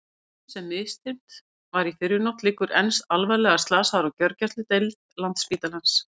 Maðurinn sem misþyrmt var í fyrrinótt liggur enn alvarlega slasaður á gjörgæsludeild Landspítalans.